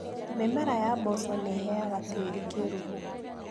Mĩmera ya mboco nĩiheaga tĩri kĩruru.